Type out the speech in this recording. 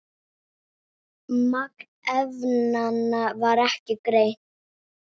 Magn efnanna var ekki greint.